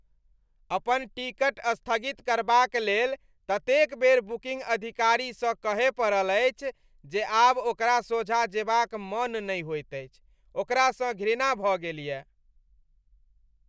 अपन टिकट स्थगित करबाक लेल ततेक बेर बुकिंग अधिकारीसँ कहय पड़ल अछि जे आब ओकरा सोझाँ जेबाक मन नहि होइत अछि, ओकरासँ घृणा भऽ गेलय।